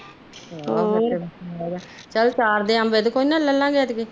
ਹੋਰ ਚੱਲ ਅਚਾਰ ਦੇ ਅੰਬ ਇਹਦੇ ਕੋਲ ਨਾ ਲਿਲੀਏ ਆਪਾ